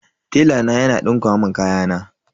Tela na yana dinka mun kayana.